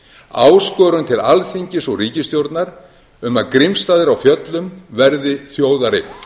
áskorun til alþingis og ríkisstjórnar um að grímsstaðir á fjöllum verði þjóðareign